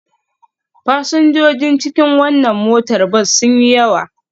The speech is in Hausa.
Fasinjojin cikin wannan motar bas sun yi yawa.